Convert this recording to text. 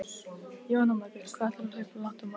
Jóhanna Margrét: Hvað ætlarðu að hlaupa langt á morgun?